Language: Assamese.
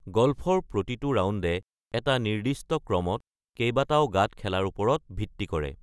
গল্ফৰ প্ৰতিটো ৰাউণ্ডে, এটা নিৰ্দিষ্ট ক্ৰমত কেইবাটাও গাঁত খেলাৰ ওপৰত ভিত্তি কৰে।